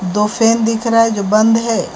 दो फैन दिख रहा है जो बंद है।